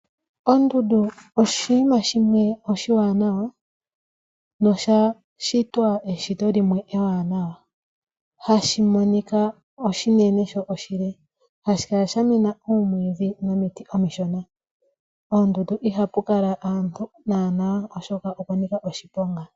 Ondundu oshinima shimwe oshiwanawa nosha shitwa eshito limwe ewanawa. Ohashi monika oshinene sho oshile, hashi kala shamena oomwiidhi nomiti omishona. Koondundu ihaku kala aantu naana oshoka okwanika oshiponga.